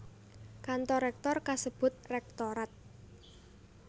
Kantor rèktor kasebut rektorat